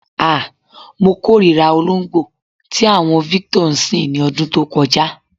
Ah! Mo kórìírà olóǹgbó tí àwo̩n Victor ń sìn ní o̩dún tó ko̩já.